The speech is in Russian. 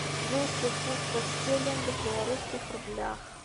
двести фунтов стерлингов в белорусских рублях